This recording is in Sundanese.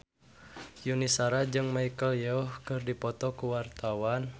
Yuni Shara jeung Michelle Yeoh keur dipoto ku wartawan